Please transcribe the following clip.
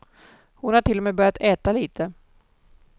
Hon har till och med börjat äta lite.